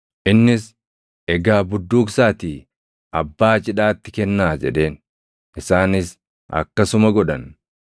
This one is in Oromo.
Innis, “Egaa budduuqsaatii abbaa cidhaatti kennaa” jedheen. Isaanis akkasuma godhan;